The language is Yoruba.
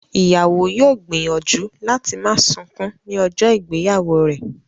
Ìyàwó yóò gbìyànjú láti má sunkún ní ọjọ́ ìgbéyàwó rẹ̀